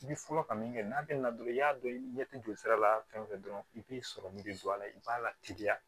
I bi fɔlɔ ka min kɛ n'a te na dɔrɔn i y'a dɔn i ɲɛ te joli sira la fɛn fɛn dɔrɔn i b'i sɔrɔ min be don a la i b'a la teliya